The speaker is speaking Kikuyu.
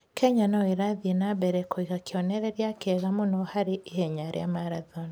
Kenya no ĩrathiĩ na mbere kũiga kĩonereria kĩega mũno harĩ ihenya rĩa marathoni.